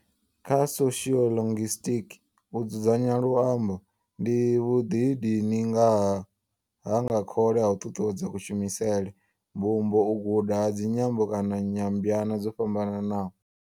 Kha soshiolinguisitiki, u dzudzanya luambo ndi vhuḓidini ha nga khole ha u ṱuṱuwedza kushumisele, mbumbo, u guda ha dzinyambo kana nyambwana dzo fhambanaho.